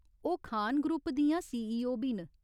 ओह् खान ग्रुप दियां सीईओ बी न।